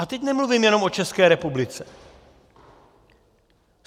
A teď nemluvím jenom o České republice.